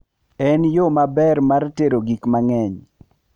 En yo maber mar tero gik mang'eny.